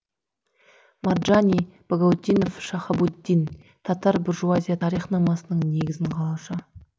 марджани багаутдинов шахабуддин татар буржуазия тарихнамасының негізін қалаушы